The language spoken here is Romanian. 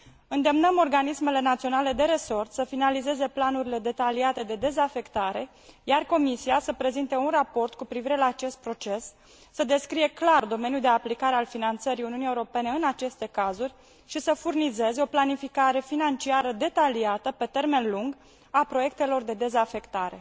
Îndemnăm organismele naționale de resort să finalizez planurile detaliate de dezafectare, iar Comisia să prezinte un raport cu privire la acest proces, să descrie clar domeniul de aplicare al finanțării Uniunii Europene în aceste cazuri și să furnizeze o planificare financiară detaliată pe termen lung a proiectelor de dezafectare.